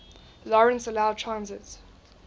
lawrence allowed transit